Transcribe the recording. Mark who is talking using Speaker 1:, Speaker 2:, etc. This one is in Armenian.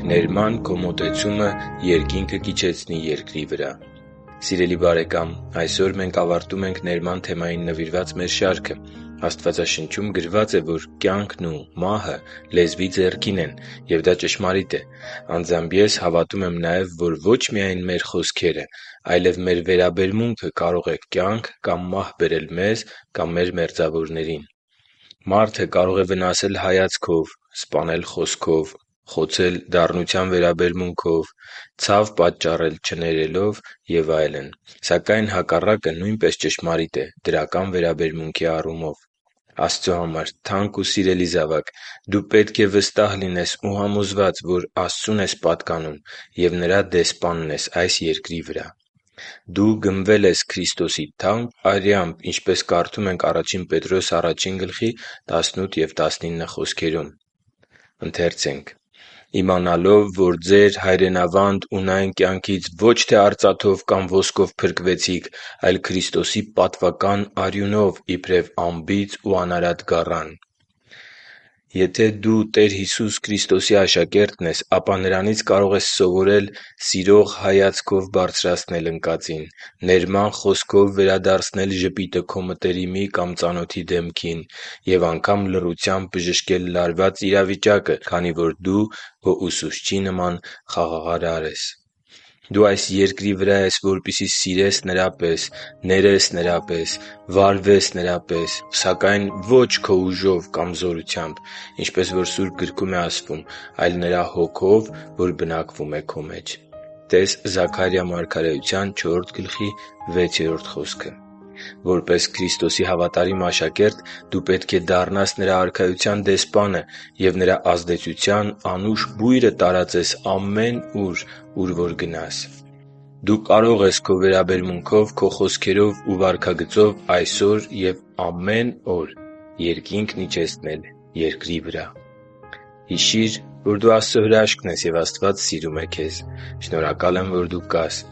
Speaker 1: Ներման
Speaker 2: քո մոտեցումը Երկինքը կիջեցնի երկրի վրա Սիրելի՛ բարեկամ, այսօր մենք ավարտում ենք ներման թեմային նվիրված մեր շարքը։ Աստվածաշնչում գրված է, որ կյանքն ու մահը լեզվի ձեռքին են, և դա ճշմարիտ է։ Անձամբ ես հավատում եմ նաև, որ ոչ միայն մեր խոսքերը, այլև մեր վերաբերմունքը կարող է կյանք կամ մահ բերել մեզ կամ մեր մերձավորներին: Մարդը կարող է վնասել հայացքով, սպանել խոսքով, խոցել դառնության վերաբերմունքով, ցավ պատճառել չներելով և այլն: Սակայն հակառակը նույնպես ճշմարիտ է դրական վերաբերմունքի առումով։ Աստծո համար թանկ ու սիրելի՛ զավակ, դու պետք է վստահ լինես ու համոզված, որ Աստծուն ես պատկանում և Նրա դեսպանն ես այս երկրի վրա։ Դու գնվել ես Քրիստոսի թանկ արյամբ, ինչպես կարդում ենք Ա Պետրոս 1․18-19 հատվածում. «․․․իմանալով, որ ձեր հայրենավանդ ունայն կյանքից ոչ թե արծաթով կամ ոսկով փրկվեցիք, այլ Քրիստոսի պատվական արյունով՝ իբրև անբիծ ու անարատ գառան»։ Եթե դու Տեր Հիսուսի Քրիստոսի աշակերտն ես, ապա Նրանից կարող ես սովորել սիրող հայացքով բարձրացնել ընկածին, ներման խոսքով վերադարձնել ժպիտը քո մտերիմի կամ ծանոթի դեմքին, և անգամ լռությամբ բժշկել լարված իրավիճակը, քանի որ դու քո Ուսուցչի նման խաղաղարար ես: Դու այս Երկրի վրա ես, որպեսզի սիրես Նրա պես, ներես Նրա պես, վարվես Նրա պես, սակայն ոչ քո ուժով կամ զորությամբ, ինչպես որ Սուրբ գրքում է ասվում, այլ Նրա Հոգով, որ բնակվում է քո մեջ… (տե՛ս Զաքարիա 4․6 խոսքը)։ Որպես Քրիստոսի հավատարիմ աշակերտ դու պետք է դառնաս Նրա Արքայության դեսպանը և Նրա ազդեցության անուշ բույրը տարածես ամենուր, ուր որ գնաս: Դու կարող ես քո վերաբերմունքով, քո խոսքերով ու վարքագծով այսօր և ամեն օր Երկինքն իջեցնել երկրի վրա։ Հիշի՛ր, որ դու Աստծո հրաշքն ես, և Աստված սիրում է քեզ։ Շնորհակալ եմ, որ դու կա՛ս